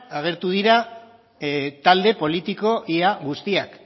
agertu dira talde politiko ia guztiak